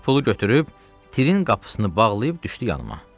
Qız pulu götürüb, tirin qapısını bağlayıb düşdü yanıma.